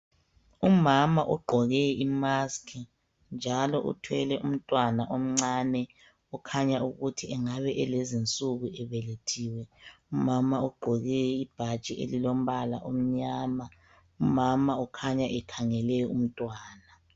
Umama ogqoke imaskhi, njalo uthwele umntawana omncane okhanya ukuthi engabe elezinsuku ebelethiwe. Umama ugqoke ibhatshi elilombala omnyama. Umama ukhanya ekhangele umntwana.